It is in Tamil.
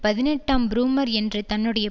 பதினெட்டாம் புரூமெர் என்ற தன்னுடைய